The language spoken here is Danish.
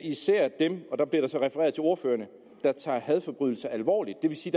især dem og der bliver der så refereret til ordførerne der tager hadforbrydelser alvorligt det vil sige